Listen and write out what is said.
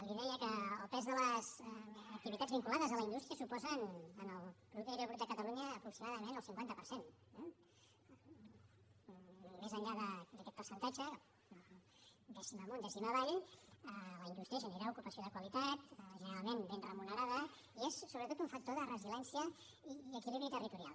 li deia que el pes de les activitats vinculades a la indústria suposa en el producte interior brut de catalunya aproximadament el cinquanta per cent eh més enllà d’aquest percentatge dècima amunt dècima avall la indústria genera ocupació de qualitat generalment ben remunerada i és sobretot un factor de resiliència i equilibri territorial